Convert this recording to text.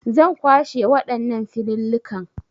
Zan kwashe waɗannan filillikan